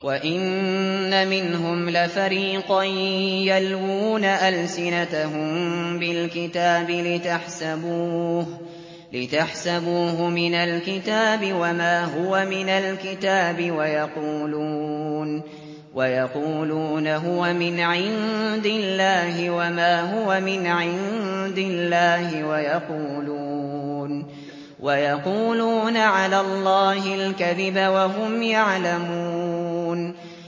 وَإِنَّ مِنْهُمْ لَفَرِيقًا يَلْوُونَ أَلْسِنَتَهُم بِالْكِتَابِ لِتَحْسَبُوهُ مِنَ الْكِتَابِ وَمَا هُوَ مِنَ الْكِتَابِ وَيَقُولُونَ هُوَ مِنْ عِندِ اللَّهِ وَمَا هُوَ مِنْ عِندِ اللَّهِ وَيَقُولُونَ عَلَى اللَّهِ الْكَذِبَ وَهُمْ يَعْلَمُونَ